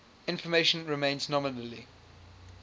information remains nominally